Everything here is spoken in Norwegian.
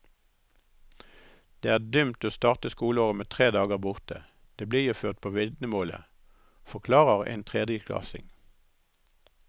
Det er dumt å starte skoleåret med tre dager borte, det blir jo ført på vitnemålet, forklarer en tredjeklassing.